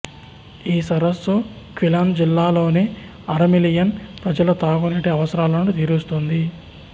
ఈ సరస్సు క్విలాన్ జిల్లాలోని అర మిలియన్ ప్రజల తాగునీటి అవసరాలను తీరుస్తుంది